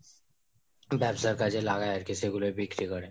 ব্যাবসার কাজে লাগায় আরকি, সেগুলোই বিক্রি করে